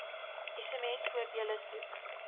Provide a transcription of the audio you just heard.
sms voordele soek